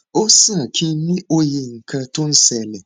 ó sàn kí n ní òye nǹkan tó ń ṣẹlẹ